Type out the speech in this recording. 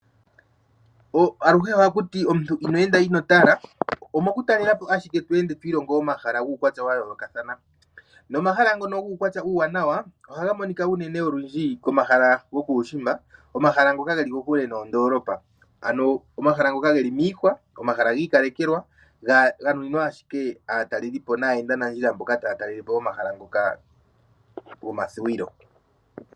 Aluhe ohaku ti inoo enda ino tala. Omo ku talela po ashike omuntu to ilongo omahala guukwatya wa yoolokathana nomahala ngono guukwatya uuwanwa ohaga monika unene olundji komahala gokuushimba, komahala ngoka ge li kokule noondoolopa, ano omahala ngoka ge li miihwa, omahala gi ikalekelwa ga nuninwa owala aatalelipo naayendanandjila mboka taya talele po omahala ngoka gomathuwilo.